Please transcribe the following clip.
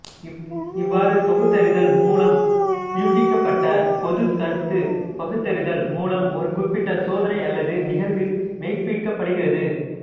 இவ்வாறு தொகுத்தறிதல் மூலம் ஊகிக்கப்பட்ட பொதுமைக் கருத்து பகுத்தறிதல் மூலம் ஒரு குறிப்பிட்ட சோதனை அல்லது நிகழ்வில் மெய்ப்பிக்கப்படுகிறது